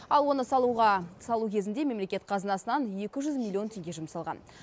ал оны салу кезінде мемлекет қазынасынан екі жүз милион теңге жұмсалған